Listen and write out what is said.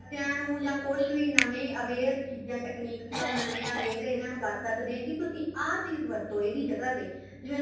ਬੱਚਿਆ ਨੂੰ ਜਾ ਕੁੱਛ ਨਵੇ aware ਚੀਜ਼ਾਂ techniques ਨਾਲ ਨਵੇ aware ਇਹਨਾ ਨੂੰ ਕਰ ਸਕਦੇ ਹਾਂ ਕੀ ਤੁਸੀਂ ਆ ਚੀਜ਼ ਵਰਤੋ ਇਹਦੀ ਜਗ੍ਹਾ ਤੇ ਜਿਵੇਂ